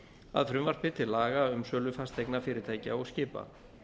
að frumvarpi til laga um sölu fasteigna fyrirtækja og skipa